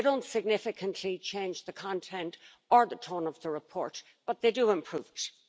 They don't significantly change the content or the tone of the report, but they do improve it.